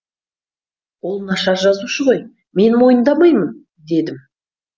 ол нашар жазушы ғой мен мойындамаймын дедім